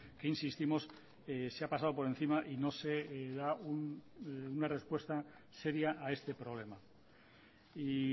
que insistimos se ha pasado por encima y no se da una respuesta seria a este problema y